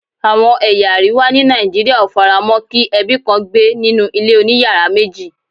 Àwọn ẹ̀yà àríwá ni Nigeria ó faramo kí ebi kàn gbé nínú ilé oniyara meji